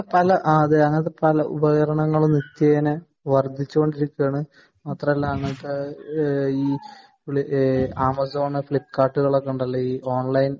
ഉപകരണങ്ങളും നിത്യേന വർധിച്ചുകൊണ്ടിരിക്കുകയാണ് മാത്രല്ല അങ്ങനത്തെ ആമസോൺ ഫ്ലിപ്കാർട് ഒക്കെ ഉണ്ടല്ലോ